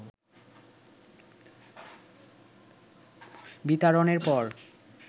বিতাড়নের পর